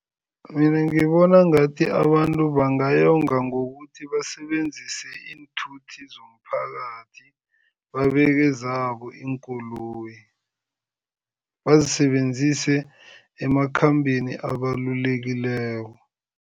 Mina ngibona ngathi abantu bangayonga ngokuthi basebenzise iinthuthi zomphakathi, babeke zabo iinkoloyi, bazisebenzise emakhambeni abalulekileko.